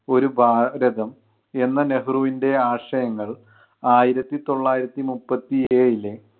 ഒരു ഭാരതം എന്ന നെഹ്രുവിൻ്റെ ആശയങ്ങൾ ആയിരത്തിതൊള്ളായിരത്തി മുപ്പത്തി ഏഴിലെ